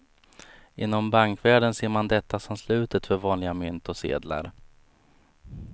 Inom bankvärlden ser man detta som slutet för vanliga mynt och sedlar.